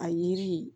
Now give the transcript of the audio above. A yiri